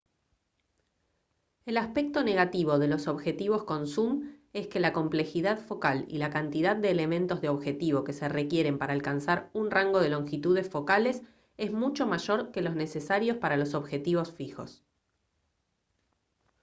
el aspecto negativo de los objetivos con zum es que la complejidad focal y la cantidad de elementos de objetivo que se requieren para alcanzar un rango de longitudes focales es mucho mayor que los necesarios para los objetivos fijos